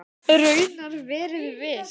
Raunar verið viss.